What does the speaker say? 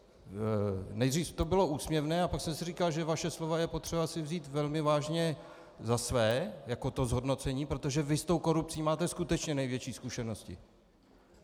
Nejdřív to bylo úsměvné, ale pak jsem si říkal, že vaše slova je potřeba si vzít velmi vážně za svá, jako to zhodnocení, protože vy s tou korupcí máte skutečně největší zkušenosti.